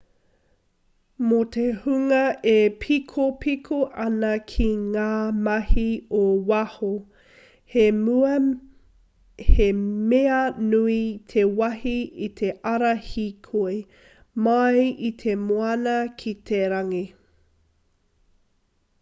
mō te hunga e pīkoko ana ki ngā mahi ō waho he mea nui te wahi i te ara hīkoi mai i te moana ki te rangi